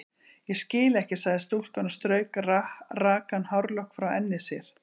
Ég skil ekki sagði stúlkan og strauk rakan hárlokk frá enni sér.